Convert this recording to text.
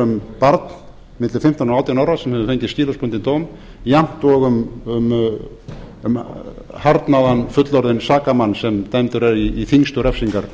um barn milli fimmtán og átján ára sem hefur fengið skilorðsbundinn dóm jafnt og um harðnaðan fullorðinn sakamann sem dæmdur er í þyngstu refsingar